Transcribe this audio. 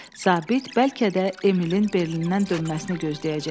Zabit bəlkə də Emilin Berlindən dönməsini gözləyəcəkdi.